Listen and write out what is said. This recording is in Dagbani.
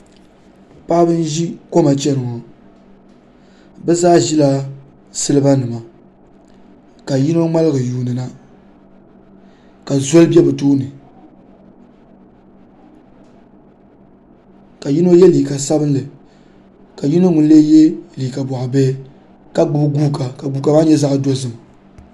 Paɣaba n ʒi koma chɛni ŋo bi zaa ʒila siliba nima ka yino ŋmaligi yuundi na ka soli bɛ bi tooni ka yino yɛ liiga sabinli ka yino ŋun lee yɛ boɣa bihi ka gbubi guuka ka guuka maa nyɛ zaɣ dozim